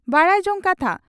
ᱵᱟᱰᱟᱭ ᱡᱚᱝ ᱠᱟᱛᱷᱟ